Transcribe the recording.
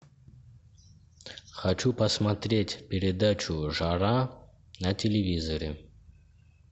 хочу посмотреть передачу жара на телевизоре